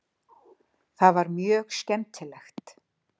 Það var mjög skemmtilegt.